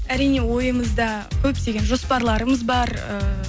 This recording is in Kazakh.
әрине ойымызда көптеген жопарларымыз бар ііі